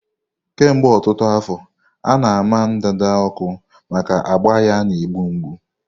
Kemgbe ọtụtụ afọ, a na-ama ndanda ọkụ maka ágbà ya na-egbu mgbu.